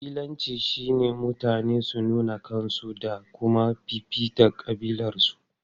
Kabilanci shine mutane su nuna kansu da kuma fifita kabilarsu.